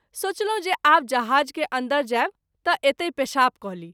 सोचलहुँ जे आब जहाज़ के अन्दर जायब त’ एतहि पेशाब क’ ली।